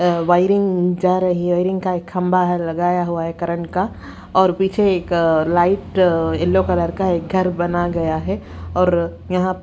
अ wiring जा रही है। वायरिंग का एक खंभा है लगाया हुआ है करंट का और पीछे एक लाइट येलो कलर का एक घर बना गया है और यहां--